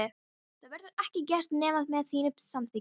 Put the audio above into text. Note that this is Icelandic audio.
Það verður ekki gert nema með þínu samþykki.